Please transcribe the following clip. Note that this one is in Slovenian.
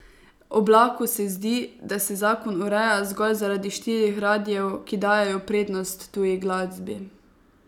Oblaku se zdi, da se zakon ureja zgolj zaradi štirih radijev, ki dajejo prednost tuji glasbi.